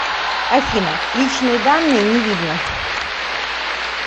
афина личные данные не видно